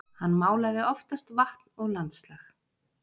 Hann málaði oftast vatn og landslag.